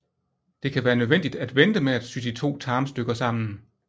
Det kan være nødvendigt at vente med at sy de to tarmstykker sammen